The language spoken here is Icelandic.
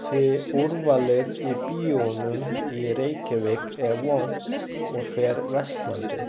Því úrvalið í bíóunum í Reykjavík er vont og fer versnandi.